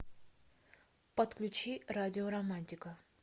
подключи радио романтика